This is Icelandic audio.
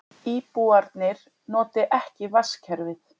Íbúarnir noti ekki vatnskerfið